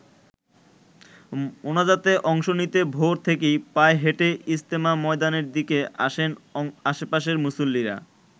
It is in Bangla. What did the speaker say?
মোনাজাতে অংশ নিতে ভোর থেকেই পায়ে হেঁটে ইজতেমা ময়দানের দিকে আসেন আশপাশের মুসল্লিরা।